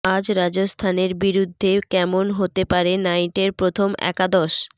আজ রাজস্থানের বিরুদ্ধে কেমন হতে পারে নাইটের প্রথম একাদশ